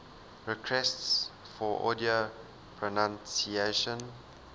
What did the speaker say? requests for audio pronunciation